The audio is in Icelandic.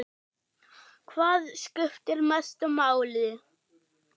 Hvað skiptir mestu máli?